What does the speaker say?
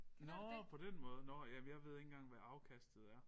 Nåh på den måde nåh ja men jeg ved ikke engang hvad afkastet er